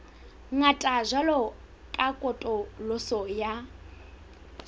ngata jwalo ka katoloso ya